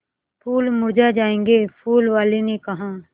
फूल मुरझा जायेंगे फूल वाली ने कहा